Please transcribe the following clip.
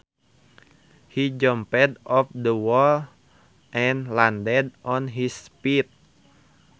He jumped off the wall and landed on his feet